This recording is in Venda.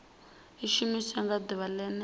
i shumiwa nga ḓuvha ḽene